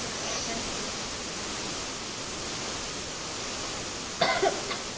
Bye! काळजी घे.